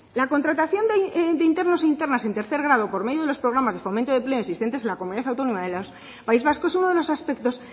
la contratación de internos e internas en tercer grado por medio de los programas de fomento de empleo existentes en la comunidad autónoma del país vasco es uno de los aspectos